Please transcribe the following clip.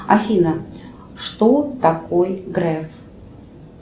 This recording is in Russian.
афина что такой греф